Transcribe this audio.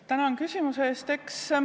Tänan küsimuse eest!